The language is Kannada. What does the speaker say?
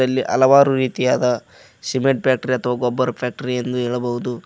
ಇಲ್ಲಿ ಹಲವಾರು ರೀತಿಯಾದ ಸಿಮೆಂಟ್ ಫ್ಯಾಕ್ಟರಿ ಅಥವಾ ಗೊಬ್ಬರ್ ಫ್ಯಾಕ್ಟರಿ ಎಂದು ಹೇಳಬಹುದು.